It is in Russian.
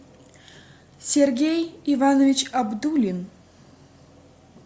сергей иванович абдулин